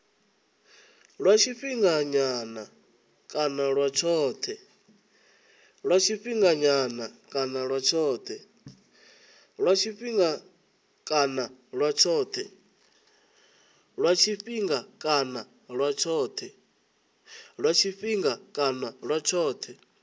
lwa tshifhinganyana kana lwa tshothe